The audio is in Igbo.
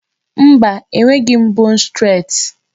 Mba, e nweghị m 'bone stret'